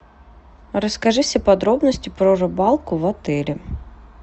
расскажи все подробности про рыбалку в отеле